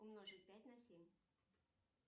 умножить пять на семь